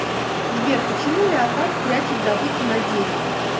сбер почему леопард прячет добычу на дереве